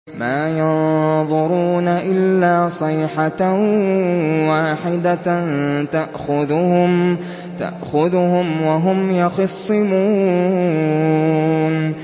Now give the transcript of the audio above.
مَا يَنظُرُونَ إِلَّا صَيْحَةً وَاحِدَةً تَأْخُذُهُمْ وَهُمْ يَخِصِّمُونَ